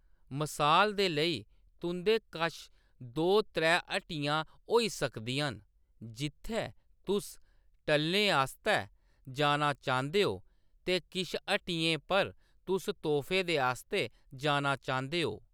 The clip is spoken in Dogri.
मसाल दे लेई, तुंʼदे कश दो-त्रै हट्टियां होई सकदियां न, जित्थै तुस टल्लें आस्तै जाना चांह्‌‌‌दे ओ ते किश हट्टियें पर तुस तोह्‌फें दे आस्तै जाना चांह्‌‌‌दे ओ।